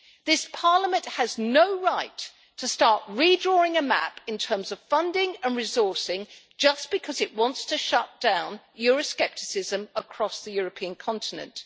This Parliament has no right to start redrawing a map in terms of funding and resourcing just because it wants to shut down euroscepticism across the European continent.